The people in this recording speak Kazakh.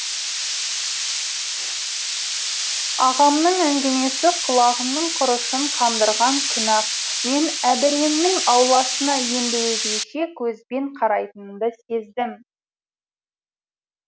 ағамның әңгімесі құлағымның құрышын қандырған күні ақ мен әбіремнің ауласына енді өзгеше көзбен қарайтынымды сездім